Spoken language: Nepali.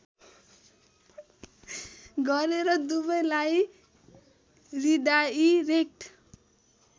गरेर दुवैलाई रिडाईरेक्ट